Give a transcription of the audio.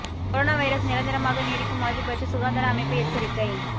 corona virus நிரந்தரமாக நீடிக்கும் வாய்ப்பு பற்றி சுகாதார அமைப்பு எச்சரிக்கை